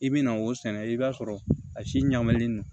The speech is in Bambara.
I bi na o sɛnɛ i b'a sɔrɔ a si ɲalen non